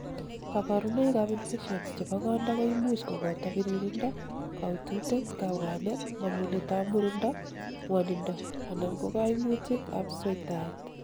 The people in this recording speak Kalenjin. kaborunoik ab infections chebo konda koimuch koboto biririndo, kaututet, kabwanet, mangunet ab murindo, ngwonindo anan kokoimutik ab sweitaet